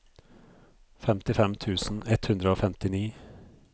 femtifem tusen ett hundre og femtini